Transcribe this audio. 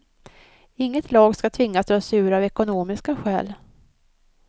Inget lag skall tvingas dra sig ur av ekonomiska skäl.